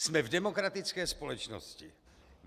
Jsme v demokratické společnosti.